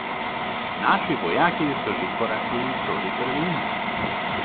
Naši vojaki so že korakali proti Berlinu.